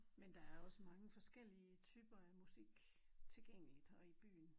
Men der er også mange forskellige typer af musik tilgængeligt og i byen